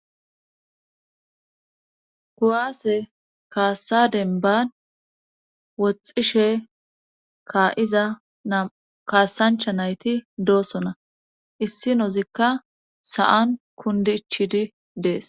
Kuwaase kaassadenban woxxishe kaa'za nam kaassancha nayti doosona issinozikka sa'an kundichidi dees.